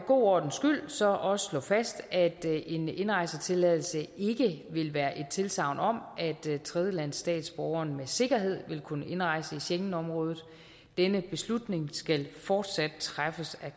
god ordens skyld så også slå fast at en indrejsetilladelse ikke vil være et tilsagn om at tredjelandsstatsborgeren med sikkerhed vil kunne indrejse i schengenområdet denne beslutning skal fortsat træffes af